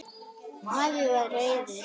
Afi var reiður.